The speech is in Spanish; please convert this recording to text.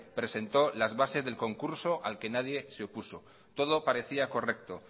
presentó las bases del concurso al que nadie se opuso todo parecía correcto